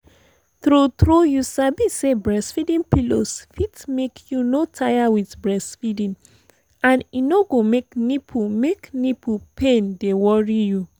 tru tru you sabi say breastfeeding pillows fit make you no tire with breastfeeding and e no go make nipple make nipple pain dey worry you